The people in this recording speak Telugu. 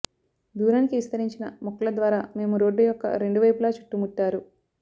దూరానికి విస్తరించిన మొక్కల ద్వారా మేము రోడ్డు యొక్క రెండు వైపులా చుట్టుముట్టారు